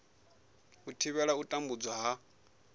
u thivhela u tambudzwa ha